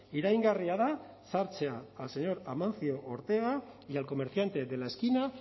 iraingarria da sartzea al señor amancio ortega y al comerciante de la esquina